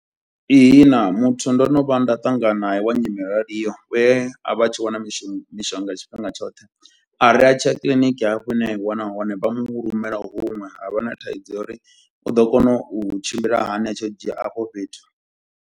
Ihina, muthu ndo no vha nda ṱangana nae wa nyimele yo raliho we a vha a tshi wana mishu mishonga ya tshifhinga tshoṱhe. A ri a tshiya kiḽiniki hafho hune a i wana hone vha mu rumela huṅwe, ha vha na thaidzo ya uri u ḓo kona u tshimbila hani a tshi yo dzhia afho fhethu.